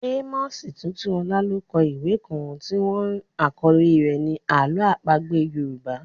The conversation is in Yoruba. Amos Tutuola ló kọ ìwé kan tí wọ́n àkọ́lé rẹ̀ ni Àlọ́ àpagbé Yorùbá.